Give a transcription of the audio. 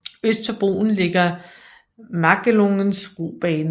Øst for broen ligger Magelungens robane